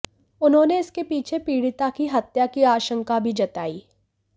उन्होंने इसके पीछे पीड़िता की हत्या की आशंका भी जताई